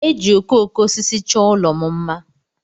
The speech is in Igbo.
E ji okooko osisi chọọ ụlọ m mma.